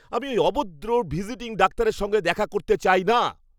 আমি ওই অভদ্র ভিজিটিং ডাক্তারের সঙ্গে দেখা করতে চাই না।